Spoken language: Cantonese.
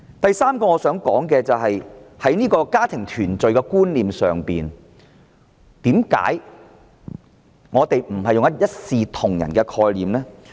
我想說的第三點，是對於家庭團聚，為甚麼我們不是用一視同仁的概念呢？